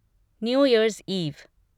new year's ewe